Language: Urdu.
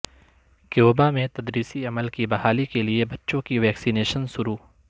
کیوبا میں تدریسی عمل کی بحالی کے لیے بچوں کی ویکسی نیشن شروع